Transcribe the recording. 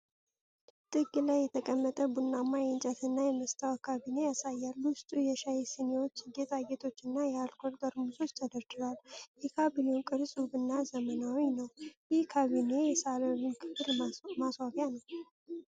ጥግ ላይ የተቀመጠ ቡናማ፣ የእንጨትና የመስታወት ካቢኔ ያሳያል። ውስጡ የሻይ ስኒዎች፣ ጌጣጌጦችና የአልኮል ጠርሙሶች ተደርድረዋል። የካቢኔው ቅርጽ ውብና ዘመናዊ ነው። ይህ ካቢኔ የሳሎን ክፍል ማስዋቢያ ነው?